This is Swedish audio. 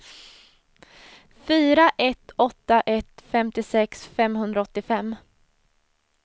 fyra ett åtta ett femtiosex femhundraåttiofem